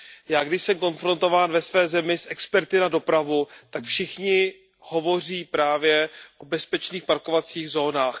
Já, když jsem konfrontován ve své zemi s experty na dopravu, tak všichni hovoří právě o bezpečných parkovacích zónách.